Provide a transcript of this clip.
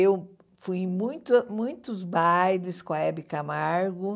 Eu fui em muita muitos bailes com a Hebe Camargo.